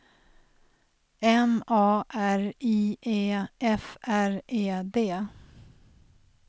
M A R I E F R E D